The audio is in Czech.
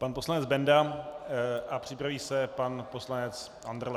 Pan poslanec Benda a připraví se pan poslanec Andrle.